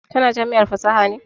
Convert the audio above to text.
Ka na jami'ar fasaha ne?